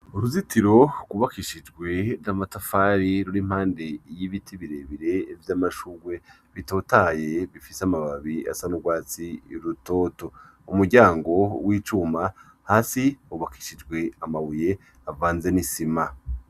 Uruzitiro kubakishijwe namatafari ruri mpande y'ibiti birebire vy'amashurwe bitotaye bifise amababi asa n'urwatsi y'urutoto umuryango w'icuma hasi hubakishijwe amabuye avanze n'isima.